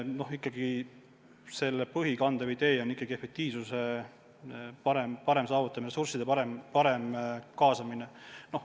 Põhiline, kandev idee on ikkagi parema efektiivsuse saavutamine, ressursside parem kaasamine.